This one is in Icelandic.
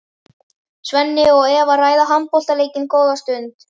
Svenni og Eva ræða handboltaleikinn góða stund.